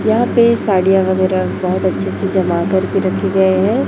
यहां पे साड़ियां वगैरा बहोत अच्छे से जमा करके रखे गए हैं।